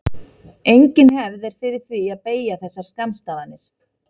Engin hefð er fyrir því að beygja þessar skammstafanir.